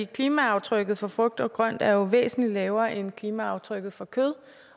klimaaftrykket for frugt og grønt er jo væsentlig lavere end klimaaftrykket for kød